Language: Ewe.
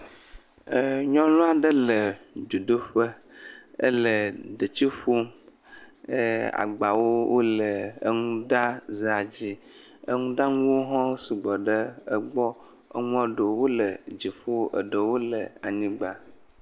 ɛɛ Nyɔnu aɖe le dzodoƒe. Ele detsi ƒom. ɛɛ agbawo wole enuɖazea dzi. Enuɖanuwo hã sɔgbɔ ɖe egbɔ. Enua ɖewo wole dziƒo, eɖewo le anyigba.